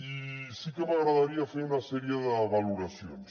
i sí que m’agradaria fer una sèrie de valoracions